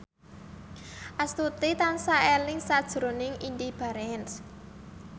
Astuti tansah eling sakjroning Indy Barens